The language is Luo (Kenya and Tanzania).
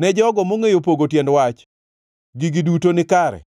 Ne jogo mongʼeyo pogo tiend wach, gigi duto nikare,